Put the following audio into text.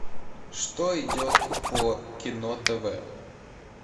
что идет по кино тв